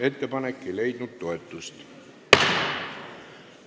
Ettepanek ei leidnud toetust.